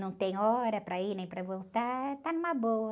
Não tem hora para ir nem para voltar, está numa boa.